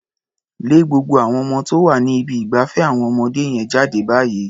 Lé gbogbo àwon ọmọ tó wà ní ibi ìgbafẹ́ àwọn ọmọdé yẹn jáde báyìí.